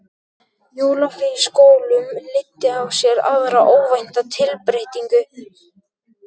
Jólafrí í skólum leiddi af sér aðra óvænta tilbreytingu.